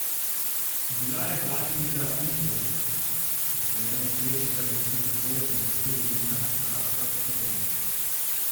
Bila je Vladimira Imperl, ki se je, nesrečna zaradi izgube svojca in precej vinjena, vračala proti domu.